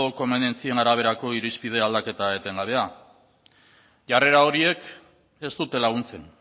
komenientzien araberako irizpide aldaketa etengabea jarrera horiek ez dute laguntzen